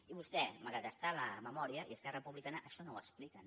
i vostè malgrat estar en la memòria i esquerra republicana això no ho expliquen